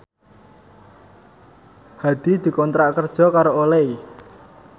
Hadi dikontrak kerja karo Olay